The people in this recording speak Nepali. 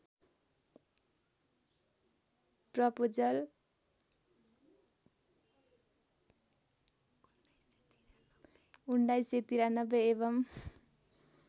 प्रपोजल १९९३ एवं